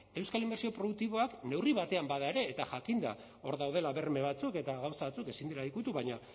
euskal inbertsio produktiboak neurri batean bada ere eta jakinda hor daudela berme batzuk eta gauza batzuk ezin dira ukitu baina